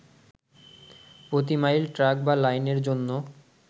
প্রতি mile track বা লাইনের জন্য